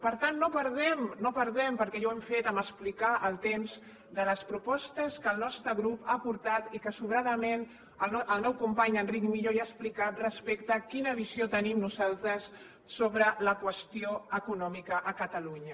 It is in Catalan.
per tant no perdem no perdem perquè ja ho hem fet a explicar el temps de les propostes que el nostre grup ha aportat i que sobradament el meu company enric millo ja ha explicat respecte a quina visió tenim nosaltres sobre la qüestió econòmica a catalunya